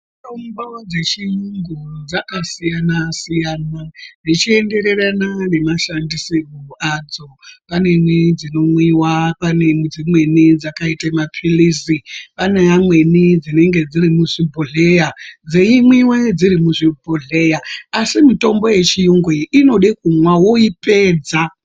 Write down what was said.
Mutombo dzechiyungu dzakasiyana siyana zvichiendererana nemashandisirwo adzo pamweni dzinomwiwa pamweni dzimweni dzakaite ma pilizi, pane amweni dzinenge dziri muzvi bhodhleya dzeimwiwe dziri muzvi bhodhleya asi mutombo yechiyungu iyi inode kumwa woipedza.